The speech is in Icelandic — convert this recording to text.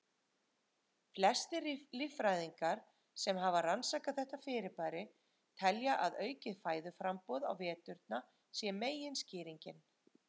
Flestir líffræðingar sem hafa rannsakað þetta fyrirbæri telja að aukið fæðuframboð á veturna sé meginskýringin.